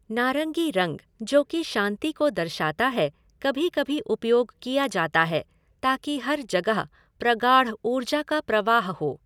नारंगी रंग, जो की शांति को दर्शाता है, कभी कभी उपयोग किया जाता है ताकि हर जगह प्रगाढ़ ऊर्जा का प्रवाह हो।